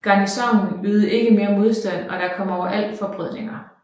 Garnisonen ydede ikke mere modstand og der kom overalt til forbrødringer